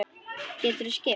Geturðu skipt?